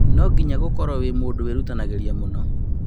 No nginya gũkorwo wĩ mũndũ wĩrutanagĩria mũno